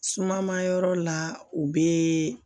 Suma ma yɔrɔ la u bɛ